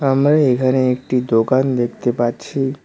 আমরা এখানে একটি দোকান দেখতে পাচ্ছি।